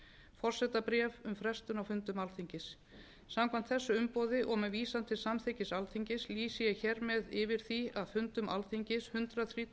forsetabréf um frestun á fundum alþingis samkvæmt þessu umboði og með vísan til samþykkis alþingis lýsi ég hér með yfir því að fundum alþingis hundrað